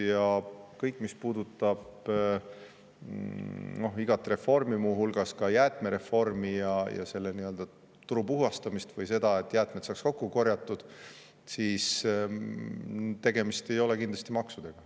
Ja kõige selle puhul, mis puudutab igat reformi, muu hulgas jäätmereformi ja selle turu puhastamist või seda, et jäätmed saaks kokku korjatud, ei ole kindlasti tegemist maksudega.